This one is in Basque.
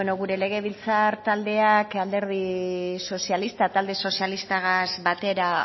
gure legebiltzar taldeak alderdi sozialistak talde sozialistagaz batera